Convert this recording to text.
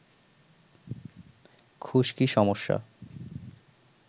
খুশকি সমস্যা